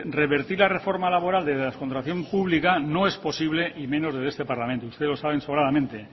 revertir la reforma laboral desde la contratación pública no es posible y menos desde este parlamento usted lo sabe sobradamente